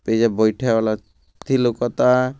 अइजे बइठे वाला अथि लउकता |